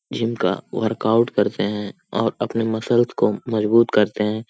Gym का work out करते है और अपने मसल्स को मजबूत करते है।